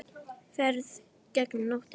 Ferð gegnum nóttina